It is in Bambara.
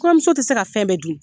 Kɔɲɔmuso tɛ se ka fɛn bɛɛ dun.